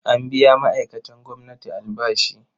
An biya ma'aikatan gwamnati albashi.